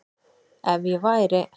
Ef ég væri